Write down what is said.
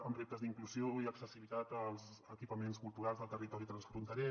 amb reptes d’inclusió i accessibilitat als equipaments culturals del territori transfronterer